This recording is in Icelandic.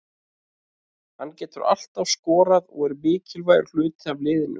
Hann getur alltaf skorað og er mikilvægur hluti af liðinu.